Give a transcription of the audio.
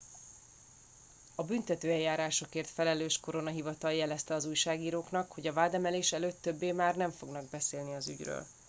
a büntetőeljárásokért felelős koronahivatal jelezte az újságíróknak hogy a vádemelés előtt többé nem fognak beszélni az ügyről